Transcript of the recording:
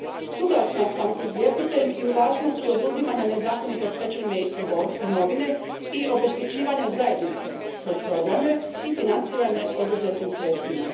Suglasna sam s izvjestiteljem i o važnosti oduzimanja nezakonito stečene imovine i obeštećivanja zajednice kroz programe i financirane oduzetim sredstvima.